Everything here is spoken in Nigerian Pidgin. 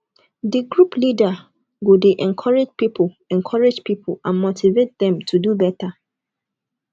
di group leader go de encourage pipo encourage pipo and motivate dem to do better